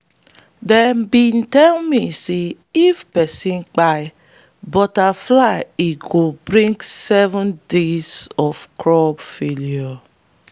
them be tell me say if persin kpai butterfly e go bring seven days of crop failure.